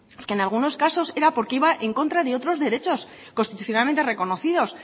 es que en algunos casos era porque iba en contra de otros derechos constitucionalmente reconocidos